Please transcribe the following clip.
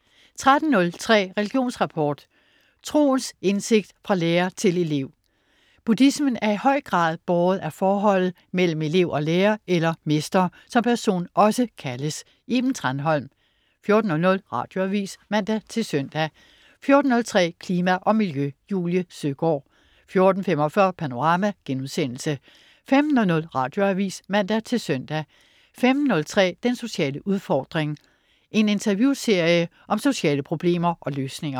13.03 Religionsrapport. Troens indsigt fra lærer til elev. Buddhismen er i høj grad båret af forholdet mellem elev og lærer eller mester, som personen også kaldes. Iben Thranholm 14.00 Radioavis (man-søn) 14.03 Klima og Miljø. Julie Søgaard 14.45 Panorama* 15.00 Radioavis (man-søn) 15.03 Den sociale udfordring. En interviewserie om sociale problemer og løsninger